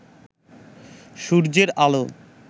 সূর্যের আলো